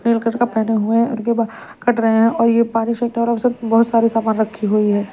Blue colour का पहने हुए और कट रहे और बहोत सारे सामान रखी हुई है।